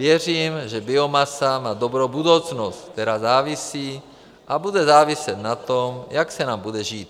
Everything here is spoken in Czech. Věřím, že biomasa má dobrou budoucnost, která závisí a bude záviset na tom, jak se nám bude žít.